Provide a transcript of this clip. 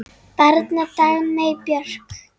Barn Dagmey Björk.